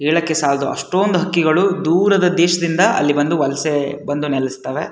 ಹೇಳಕ್ಕೆ ಸಾಲದು ಅಷ್ಟೊಂದು ಹಕ್ಕಿಗಳು ವಲಸೆ ಬಂದು ನೆಲೆಸ್ತಾವೆ --